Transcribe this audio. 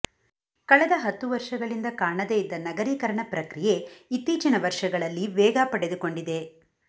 ಕಳೆದ ಹತ್ತು ವರ್ಷಗಳಿಂದ ಕಾಣದೇ ಇದ್ದ ನಗರೀಕರಣ ಪ್ರಕ್ರಿಯೆ ಇತ್ತೀಚಿನ ವರ್ಷಗಳಲ್ಲಿ ವೇಗ ಪಡೆದುಕೊಂಡಿದೆ